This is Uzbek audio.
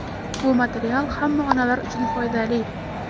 Bu material hamma onalar uchun foydali.